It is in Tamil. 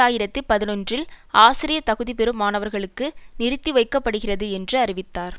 ஆயிரத்தி பதினொன்றில் ஆசிரியர் தகுதி பெறும் மாணவர்களுக்கு நிறுத்தி வைக்க படுகிறது என்று அறிவித்தார்